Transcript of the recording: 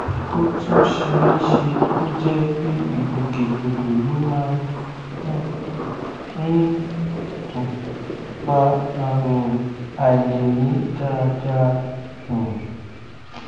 ó tún ṣe é ṣe kó jẹ pé ìgbòkègbodò ló máa um ń um fa àrùn àìlèmí dáadáa um